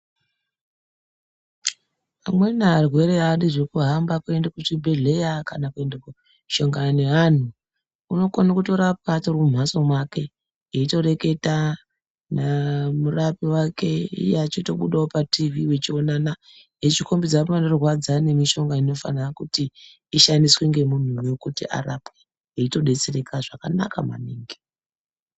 Amweni arwere adi zveku hamba kuende ku chibhedhleya kana kuende ko shongana ne anhu unokone kuto rapwa atori mu mhatso make eito reketa na murapi wake iye achito budawo pa tivhi vechi onana echi kombidza panorwadza ne mishonga inofanira kuti ishandiswe nge munhu nekuti arapwe eito detsereka zvakanaka maningi.